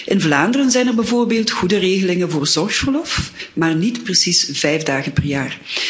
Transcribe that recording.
In Vlaanderen zijn er bijvoorbeeld goede regelingen voor zorgverlof, maar niet precies vijf dagen per jaar.